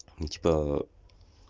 типа